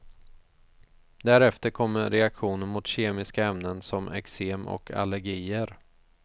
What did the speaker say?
Därefter kommer reaktioner mot kemiska ämnen, som eksem och allergier.